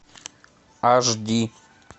аш ди